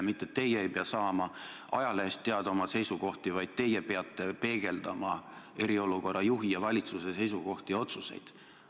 Mitte teie ei pea saama ajalehest teada oma seisukohti, vaid teie peate peegeldama eriolukorra juhi ja valitsuse seisukohti ja otsuseid.